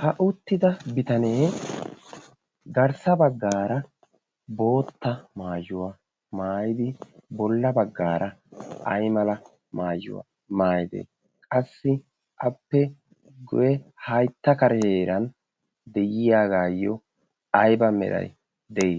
ha uttida bitanee garssa baggaara bootta maayuwaa maayidi bolla baggaara ay mala maayuwaa maayidee qassi appe goye haitta kareeran de'iyaagaayyo ayba meray de'i